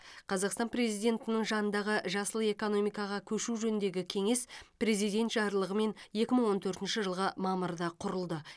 қазақстан президентінің жанындағы жасыл экономикаға көшу жөніндегі кеңес президент жарлығымен екі мың он төртінші жылғы мамырда құрылды